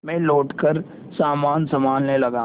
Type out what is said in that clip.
मैं लौटकर सामान सँभालने लगा